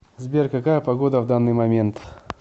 сбер какая погода в данный момент